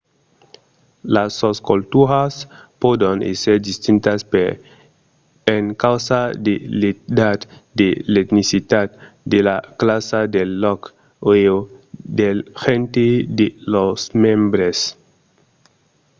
las sosculturas pòdon èsser distintas per encausa de l'edat de l'etnicitat de la classa del lòc e/o del genre de lors membres